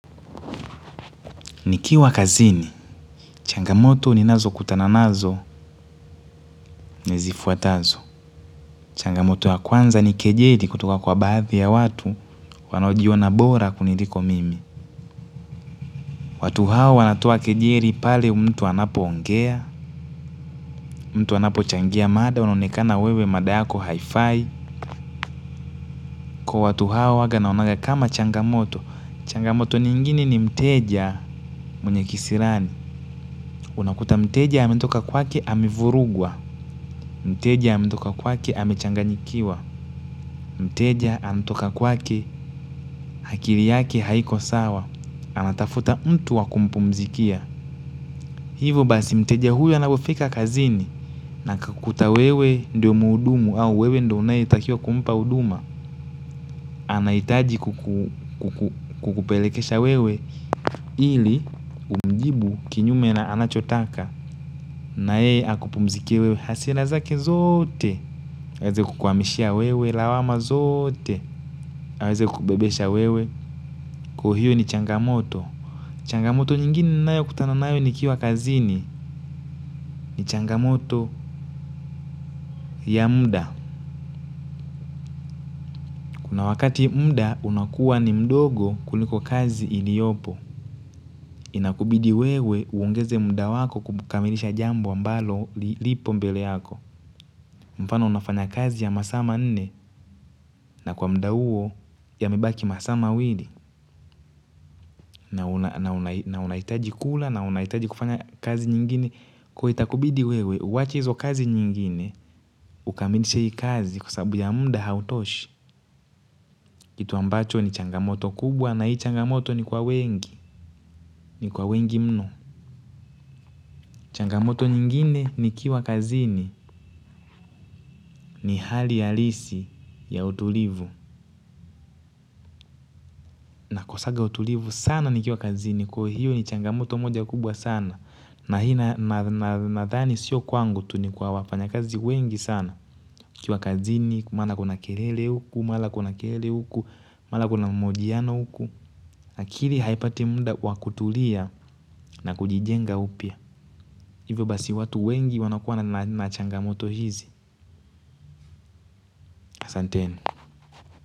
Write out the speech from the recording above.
Nikiwa kazini, changamoto ni nazo kutana nazo, nizifuatazo. Changamoto ya kwanza ni kejeli kutoka kwa baadhi ya watu, wanaojiona bora kuniliko mimi. Watu hao wanatoa kejeli pale mtu anapo ongea, mtu anapo changia mada, unaonekana wewe madayako haifai. Kwa watu hao huwaga naonaga kama changamoto, changamoto nyingine ni mteja mwenye kisirani. Unakuta mteja ametoka kwake amevurugwa, mteja ametoka kwake amechanganyikiwa, mteja ametoka kwake akili yake haiko sawa, anatafuta mtu wakumpumzikia. Hivyo basi mteja huyo anapofika kazini na akukuta wewe ndio muhudumu au wewe ndio unaye takiwa kumpa huduma. Ana hitaji kukupelekesha wewe ili umjibu kinyume na anachotaka nae akupumzikie wewe hasira zake zote. Aweze kukuhamishia wewe lawama zote. Aweze kukubebesha wewe kwahio ni changamoto. Changamoto nyingine ninayo kutana nayo nikiwa kazini ni changamoto ya muda. Kuna wakati muda unakuwa ni mdogo kuliko kazi ili yopo, inakubidi wewe uongeze muda wako kukamilisha jambo ambalo lipo mbele yako. Mfano unafanya kazi ya masaama nne kwa muda huo ya mebaki masaama wili na unahitaji kula na unahitaji kufanya kazi nyingine. Kwahiyo itakubidi wewe uwache hizo kazi nyingine, ukamilishe hii kazi kwasababu ya muda hautoshi. Kitu ambacho ni changamoto kubwa na hii changamoto ni kwa wengi, ni kwa wengi mno. Changamoto nyingine ni kiwa kazini ni hali halisi ya utulivu. Na ko sanga utulivu sana ni kiwa kazini kwa hiyo ni changamoto moja kubwa sana. Na hina nadhani sio kwangu tunikwa wafanya kazi wengi sana nikiwa kazini, mara kuna kelele huku, mara kuna kelele huku, mara kuna mahojiano huku. Akili haipati muda wakutulia na kujijenga upya. Hivyo basi watu wengi wanakuwa na nachanga moto hizi asanteni.